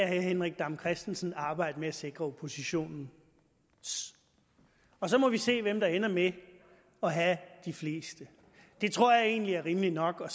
herre henrik dam kristensen arbejde med at sikre oppositionens og så må vi se hvem der ender med at have de fleste det tror jeg egentlig er rimeligt nok og